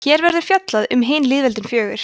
hér verður fjallað um hin lýðveldin fjögur